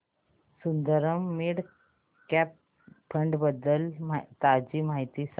Sundaram mid cap fund बद्दल ताजी माहिती सांग